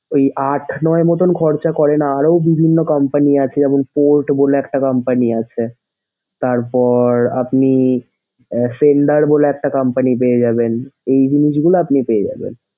এই আট নয় এর মতন খরচ করেন আরও বিভিন্ন company আছে যেমন portable একটা company আছে। তারপর আপনি Shelder বলে একটা company পেয়ে যাবেন। এই জিনিসগুলো আপনি পেয়ে যাবেন।